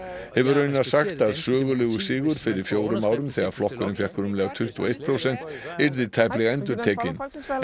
hefur raunar sagt að sögulegur sigur fyrir fjórum árum þegar flokkurinn fékk rúmlega tuttugu og eitt prósent yrði tæplega endurtekinn